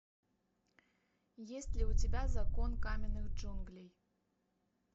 есть ли у тебя закон каменных джунглей